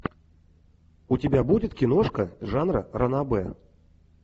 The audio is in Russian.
у тебя будет киношка жанра ранобэ